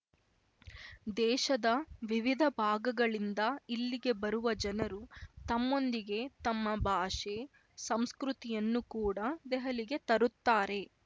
ದೇಶದ ವಿವಿಧ ಭಾಗಗಳಿಂದ ಇಲ್ಲಿಗೆ ಬರುವ ಜನರು ತಮ್ಮೊಂದಿಗೆ ತಮ್ಮ ಭಾಷೆ ಸಂಸ್ಕೃತಿಯನ್ನು ಕೂಡ ದೆಹಲಿಗೆ ತರುತ್ತಾರೆ